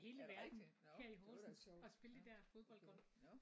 Er det rigtig? Når det var da et sjovt ja okay nå